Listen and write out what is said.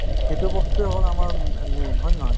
সেইটো বস্তুয়ে হ'ল আমাৰ উম main হয় নে নহয়